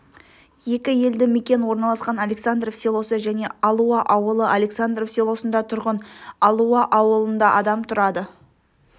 екі елді мекен орналасқан александров селосы және алуа ауылы александров селосында тұрғын алуа ауылында адам тұрады